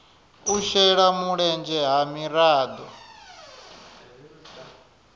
u shela mulenzhe ha miraḓo